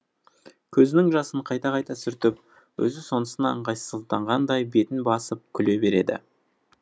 көзінің жасын қайта қайта сүртіп өзі сонысына ыңғайсызданғандай бетін басып күле береді